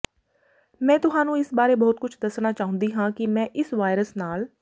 ਮੈਂ ਤੁਹਾਨੂੰ ਇਸ ਬਾਰੇ ਬਹੁਤ ਕੁਝ ਦੱਸਣਾ ਚਾਹੁੰਦੀ ਹਾਂ ਕਿ ਮੈਂ ਇਸ ਵਾਇਰਸ ਨਾਲ